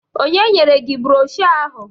Ọnye nyere gi brọshọ ahụ?